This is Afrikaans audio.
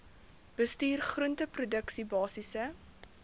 bestuur groenteproduksie basiese